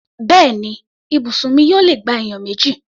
Bẹ́ẹ̀ni, ibùsùn mi yóò lè gba ènìyàn méjì.